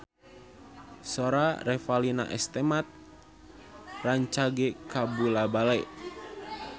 Sora Revalina S. Temat rancage kabula-bale